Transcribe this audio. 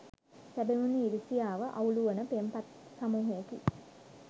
සැබවින්ම ඉරිසියාව අවුලුවන පෙම්පත් සමූහයකි.